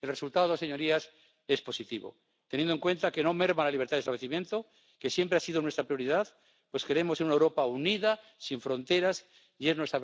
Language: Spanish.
El resultado, señorías, es positivo, teniendo en cuenta que no merma la libertad de establecimiento, que siempre ha sido nuestra prioridad, pues queremos una Europa unida, sin fronteras, y es nuestra